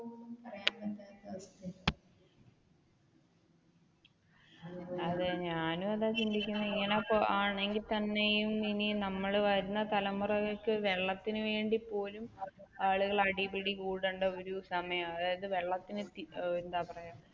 അതെ ഞാനും അതാണ് ചിന്തിക്കുന്നേ, ഇനിയിപ്പോ ഇങ്ങനെ ആണെങ്കിൽ തന്നെ ഇനിയും നമ്മൾ വരുന്ന തലമുറക്ക് വെള്ളത്തിന് വേണ്ടി പോലും ആളുകൾ അടിപിടി കൂട്ട, ഒരു സമയമാണ് അതായത് വെള്ളത്തിന് എന്താ പറയുക